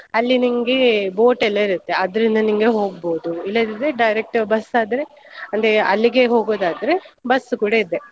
ಅಲ್ಲಿ ನಿಂಗೆ boat ಎಲ್ಲ ಇರುತ್ತೆ, ಅದ್ರಿಂದ ನಿಂಗೆ ಹೋಗ್ಬೋದು. ಇಲ್ಲದಿದ್ರೆ direct bus ಆದ್ರೆ ಅಂದ್ರೆ ಅಲ್ಲಿಗೆ ಹೋಗೋದಾದ್ರೆ bus ಕೂಡ ಇದೆ.